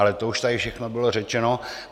Ale to už tady všechno bylo řečeno.